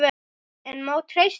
En má treysta því?